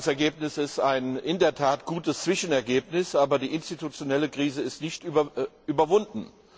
Das Ergebnis ist in der Tat ein gutes Zwischenergebnis, aber die institutionelle Krise ist nicht überwunden.